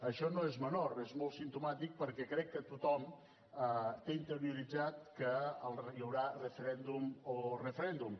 això no és menor és molt simptomàtic perquè crec que tothom té interioritzat que hi haurà referèndum o referèndum